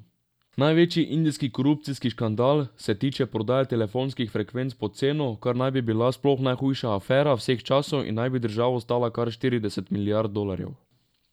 Največji indijski korupcijski škandal se tiče prodaje telefonskih frekvenc pod ceno, kar naj bi bila sploh najhujša afera vseh časov in naj bi državo stala kar štirideset milijard dolarjev.